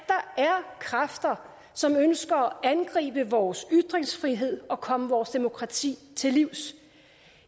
kræfter som ønsker at angribe vores ytringsfrihed og komme vores demokrati til livs